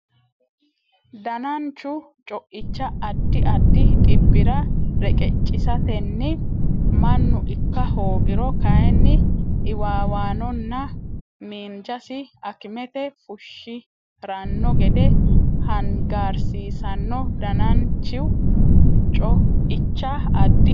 Dananchu co icha addi addi dhibbira reqeccisatenni mannu ikka hoogiro kayinni iwiiwannonna miinjasi akimete fushshi ranno gede hangaarsiisanno Dananchu co icha addi addi.